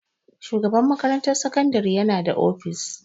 Shugaban makarantar sakandare yana da ofis.